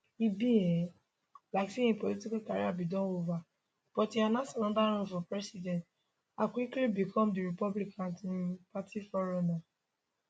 e be um like say im political career bin dey ova but e announce anoda run for president and quickly become di republican um party frontrunner